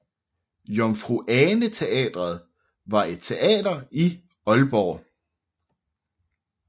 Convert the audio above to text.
Jomfru Ane Teatret var et teater i Aalborg